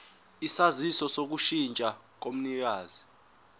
isaziso sokushintsha komnikazi